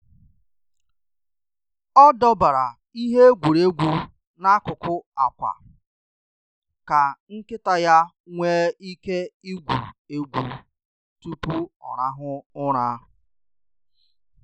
Ọ dọbara ihe egwuregwu n’akụkụ akwa ka nkịta ya nwee ike igwu egwu tupu ọ rahụ ụra.